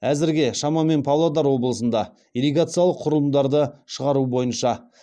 әзірге шамамен павлодар облысында ирригациялық құрылымдарды шығару бойынша